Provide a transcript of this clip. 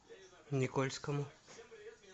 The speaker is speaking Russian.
никольскому